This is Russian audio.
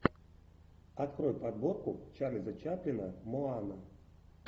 открой подборку чарльза чаплина моана